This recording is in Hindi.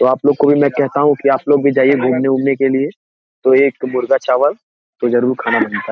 तो आप लोगों को भी मैं कहता हूं कि आप लोग भी जाइए घूमने-उमने के लिए तो एक मुर्गा चावल जरूर खाना बनता है।